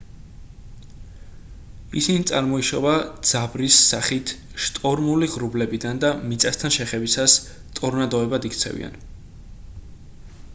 ისინი წარმოიშობა ძაბრის სახით შტორმული ღრუბლებიდან და მიწასთან შეხებისას ტორნადოებად იქცევიან